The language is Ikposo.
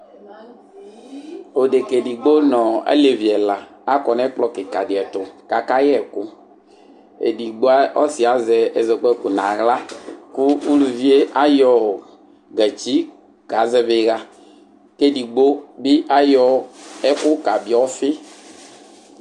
Odeka edigbo nʋ alevi ɛla akɔ nʋ ɛkplɔ kikadi ɛtʋ akayɛ ɛkʋ edigbo ɔsi azɛ ɛzɔkpako nʋ aɣla kʋ ʋlʋvi yɛ ayɔ gatsi kazɛvi iɣa kʋ edigbo bi ayɔ ɛkʋ kabiɔ ɔfi